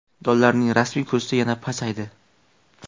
Dollarining rasmiy kursi yana pasaydi.